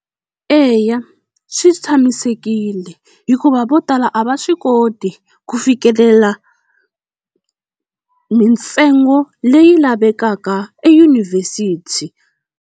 Eya swi tshamisekile hikuva vo tala a va swi koti ku fikelela mintsengo leyi lavekaka eyunivhesiti.